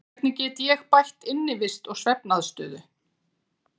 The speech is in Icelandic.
Hvernig get ég bætt innivist og svefnaðstöðu?